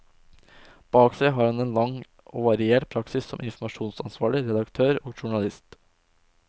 Bak seg har han en lang og variert praksis som informasjonsansvarlig, redaktør og journalist.